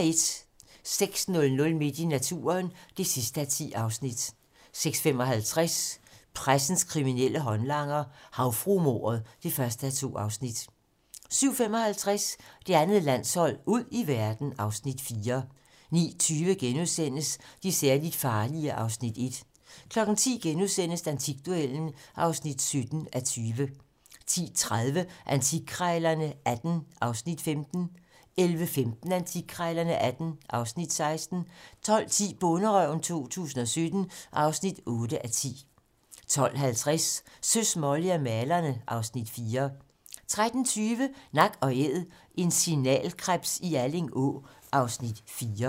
06:00: Midt i naturen (10:10) 06:55: Pressens kriminelle håndlanger - Havfruemordet (1:2) 07:55: Det andet landshold: Ud i verden (Afs. 4) 09:20: De særligt farlige (Afs. 1)* 10:00: Antikduellen (17:20)* 10:30: Antikkrejlerne XVIII (Afs. 15) 11:15: Antikkrejlerne XVIII (Afs. 16) 12:10: Bonderøven 2017 (8:10) 12:50: Søs, Molly og malerne (Afs. 4) 13:20: Nak & æd - en signalkrebs i Alling Å (Afs. 4)